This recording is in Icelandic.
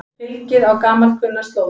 Fylgið á gamalkunnar slóðir